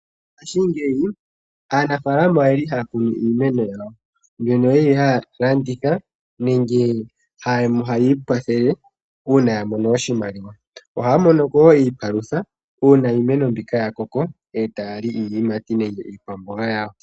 Ngashingeyi aanafaalama hali haya kunu iimeno yayo, iimeno oya li haya landitha nenge haya ikwathele uuna ya mono oshimaliwa ohaya mono ko wo iipalutha uuna iimeno mbika ya koko etaya li iiyimati nenge iikwamboga yawo.